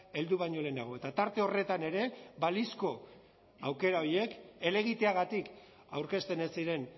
heldu baino lehenago eta tarte horretan ere balizko aukera horiek helegiteagatik aurkezten ez ziren